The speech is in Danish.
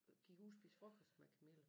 Gik ud og spiste frokost med Camille